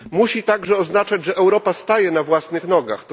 Musi także oznaczać, że Europa staje na własnych nogach.